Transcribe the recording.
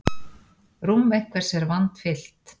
Rúm einhvers er vandfyllt